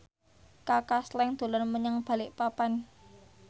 Kaka Slank dolan menyang Balikpapan